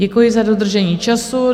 Děkuji za dodržení času.